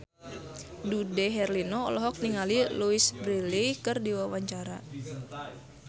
Dude Herlino olohok ningali Louise Brealey keur diwawancara